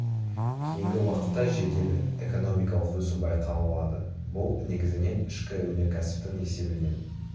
кейінгі уақытта жедел экономикалық өсу байқалады бұл негізінен ішкі өнеркәсіптің есебінен